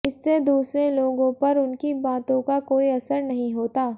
इससे दूसरे लोगों पर उनकी बातों का कोई असर नहीं होता